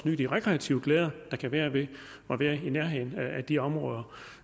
nyde de rekreative glæder der kan være ved at være i nærheden af de områder